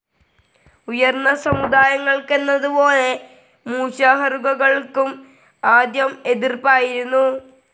ഉയർന്ന സമുദായങ്ങൾക്കെന്നപോലെ, മൂശാഹറുകൾക്കുംആദ്യം എതിർപ്പായിരുന്നു.